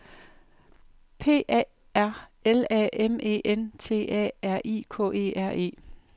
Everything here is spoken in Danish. P A R L A M E N T A R I K E R E